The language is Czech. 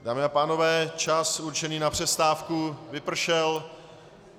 Dámy a pánové, čas určený na přestávku vypršel.